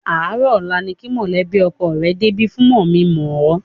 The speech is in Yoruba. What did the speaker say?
Àárọ̀ ọ̀la ni kí mọ̀lẹ́bí ọkọ rẹ débi fún mọ̀-mí-n-mọ̀-ẹ́.